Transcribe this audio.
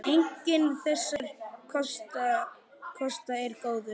Enginn þessara kosta er góður.